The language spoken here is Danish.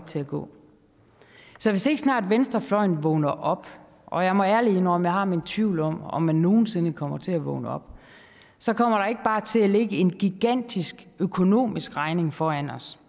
til at gå så hvis ikke snart venstrefløjen vågner op og jeg må ærligt indrømme har mine tvivl om om man nogen sinde kommer til at vågne op så kommer der ikke bare til at ligge en gigantisk økonomisk regning foran os